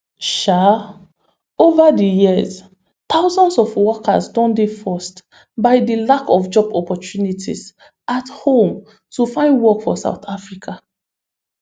um over di years thousands of workers don dey forced by di lack of job opportunities at home to find work for south africa